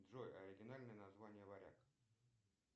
джой оригинальное название варяг